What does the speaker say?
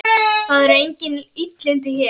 Það eru engin illindi hér.